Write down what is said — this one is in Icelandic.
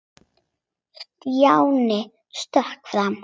Stjáni stökk fram.